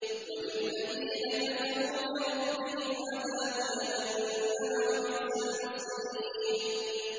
وَلِلَّذِينَ كَفَرُوا بِرَبِّهِمْ عَذَابُ جَهَنَّمَ ۖ وَبِئْسَ الْمَصِيرُ